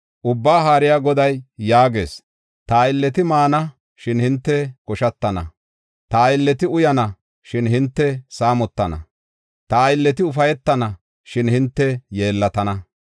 Ubbaa Haariya Goday yaagees: “Ta aylleti maana, shin hinte koshatana; ta aylleti uyana, shin hinte saamotana; ta aylleti ufaytana, shin hinte yeellatana.